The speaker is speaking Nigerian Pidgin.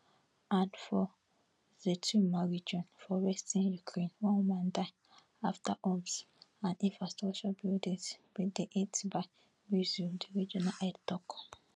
and for zhytomyr region for western ukraine one woman die afta homes and infrastructure buildings bin dey hit by di regional head tok